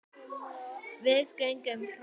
Við göngum hratt.